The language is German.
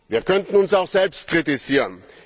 Wir könnten uns auch selbst kritisieren.